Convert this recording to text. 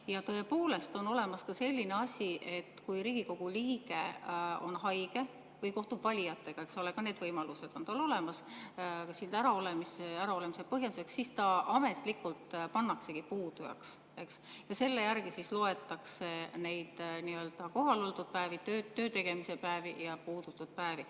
Ja tõepoolest, on olemas ka selline asi, et kui Riigikogu liige on haige või kohtub valijatega – eks ole, ka need võimalused on tal olemas siit äraolemise põhjenduseks –, siis ta ametlikult pannaksegi puudujaks ja selle järgi loetakse neid nii‑öelda kohaloldud päevi, töötegemise päevi, ja puudutud päevi.